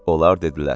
Onlar dedilər: